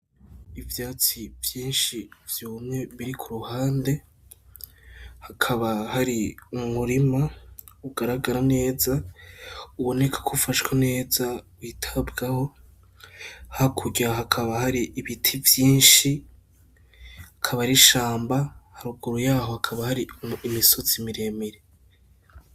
Ivyatsi vyinshi vyumye biri ku ruhande, hakaba hari umurima ugaragara neza uboneka ko ufashwe neza, witabwaho, hakurya hakaba hari ibiti vyinshi, akaba ari ishamba haruguru yaho hakaba hari imisozi miremire.